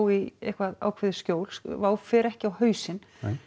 í eitthvað ákveðið skjól fer ekki á hausinn